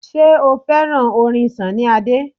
Ṣé o fẹ́ràn orin Sunny Adé?